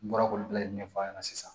N bɔra k'olu bɛɛ ɲɛfɔ a ɲɛna sisan